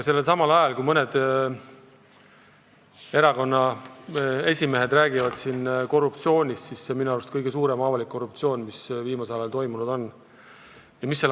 Aga mõned erakondade esimehed räägivad siin korruptsioonist ning see on minu arust kõige suurem avalik korruptsioon, mis viimasel ajal aset on leidnud.